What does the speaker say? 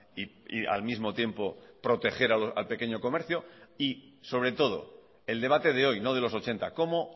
y al mismo tiempo proteger al pequeño comercio y sobre todo el debate de hoy no de los ochenta cómo